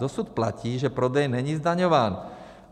Dosud platí, že prodej není zdaňován.